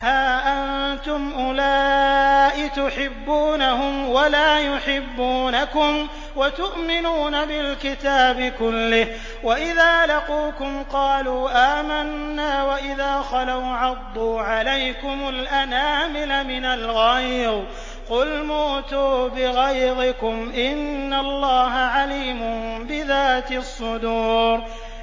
هَا أَنتُمْ أُولَاءِ تُحِبُّونَهُمْ وَلَا يُحِبُّونَكُمْ وَتُؤْمِنُونَ بِالْكِتَابِ كُلِّهِ وَإِذَا لَقُوكُمْ قَالُوا آمَنَّا وَإِذَا خَلَوْا عَضُّوا عَلَيْكُمُ الْأَنَامِلَ مِنَ الْغَيْظِ ۚ قُلْ مُوتُوا بِغَيْظِكُمْ ۗ إِنَّ اللَّهَ عَلِيمٌ بِذَاتِ الصُّدُورِ